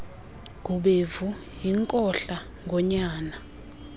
gubevu yinkohla ngonyana